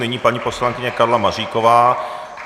Nyní paní poslankyně Karla Maříková.